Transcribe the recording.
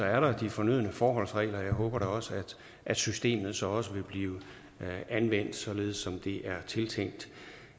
er der de fornødne forholdsregler og jeg håber da at systemet så også vil blive anvendt således som det er tiltænkt